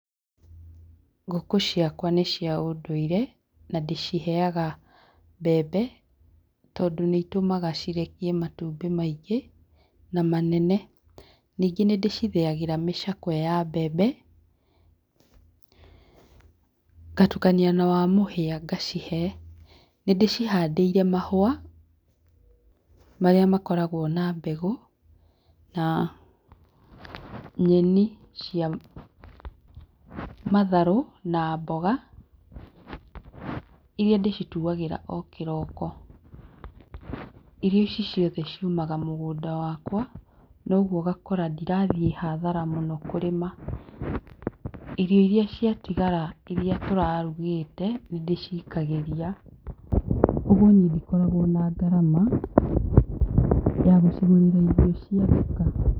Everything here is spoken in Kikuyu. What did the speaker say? Ngũkũ ciakwa nĩ cia ũndũire na ndĩciheaga mbembe tondũ nĩ citũmaga cirekie matumbĩ maingĩ na manene, ningĩ nĩ ndĩcithĩagĩra mĩcakwe ya mbembe ngatukania na wa mũhĩa ngacihe, nĩ ndĩcihandĩire mahũa marĩa makoragwo na mbegũ na nyeni cia matharũ na mboga iria ndĩcituagĩra o kohĩroko, irio ici ciothe ciũmaga mũgũnda wakwa noguo ũgakora ndĩrathiĩ hathara mũno kũrĩma, irio iria ciatigara iria tũrarugĩte nĩ ndĩcikagĩria ũguo niĩ ndikoragwo na gharama ya gũcigũrĩra irio cia duka.